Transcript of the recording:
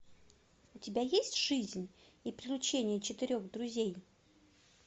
у тебя есть жизнь и приключения четырех друзей